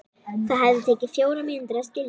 Það hefði tekið okkur fjórar mínútur að skilja.